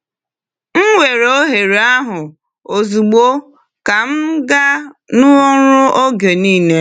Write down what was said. M weere ohere ahụ ozugbo ka m gaa n’ọrụ oge niile.